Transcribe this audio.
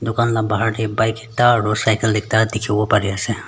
Taihan la bahar tey bike ekta aro cycle ekta dekhe bole pare ase.